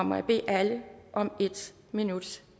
må jeg bede alle om en minuts